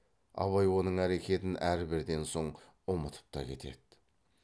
абай оның әрекетін әрберден соң ұмытып та кетеді